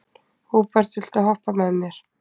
Húbert, viltu hoppa með mér?